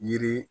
Yiri